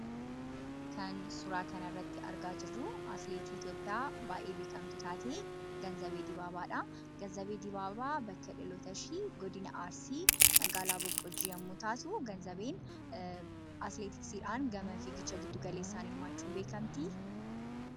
Kan suuraa kanarratti argaa jirru atileetii Itoophiyaa baay'ee beekamtuu taate Ganzabee Dibaabaadha. Ganzabeen Dibaabaa bakki dhalootashee godina Arsii magaalaa Boqqojjii yemmuu taatu, Ganzabeen atileetiksiidhaan fiigichaan hirmaachuudhaan beekamti.